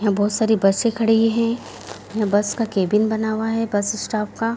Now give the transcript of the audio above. यहाँ बहूत सारे बसे खड़ी हैं यह बस का केबिन बना हुआ है बस स्टाफ का |